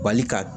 Bali ka